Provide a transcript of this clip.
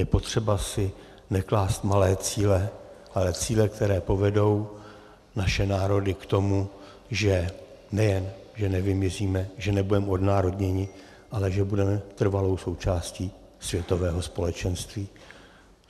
Je potřeba si neklást malé cíle, ale cíle, které povedou naše národy k tomu, že nejen že nevymizíme, že nebudeme odnárodněni, ale že budeme trvalou součástí světového společenství.